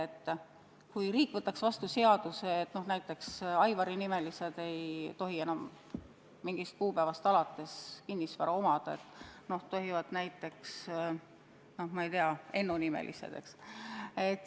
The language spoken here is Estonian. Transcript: Oletame, et riik võtab vastu seaduse, et Aivari-nimelised ei tohi enam mingist kuupäevast alates kinnisvara omada, tohivad vaid Ennu-nimelised.